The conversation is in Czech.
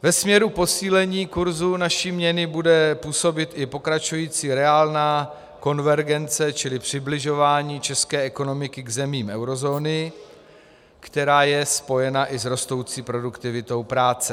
Ve směru posílení kurzu naší měny bude působit i pokračující reálná konvergence čili přibližování české ekonomiky k zemím eurozóny, která je spojena i s rostoucí produktivitou práce.